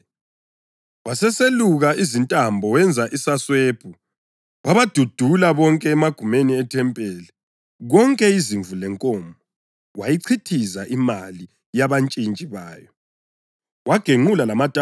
Waseseluka izintambo wenza isaswebhu wabadudula bonke emagumeni ethempeli, konke izimvu lenkomo; wayichithiza imali yabantshintshi bayo, wagenqula lamatafula abo.